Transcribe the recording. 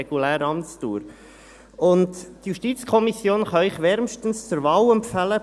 Die JuKo kann Ihnen Frau Sandra Wiedmer von der SP wärmstens zur Wahl empfehlen.